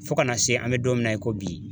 Fo kana se an bɛ don min na i ko bi